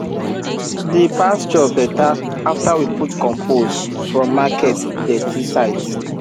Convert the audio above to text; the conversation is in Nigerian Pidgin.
the pasture better after we put compost from market dirty site